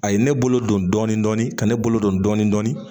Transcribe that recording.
A ye ne bolo don dɔɔnin dɔɔnin ka ne bolo don dɔɔnin dɔɔnin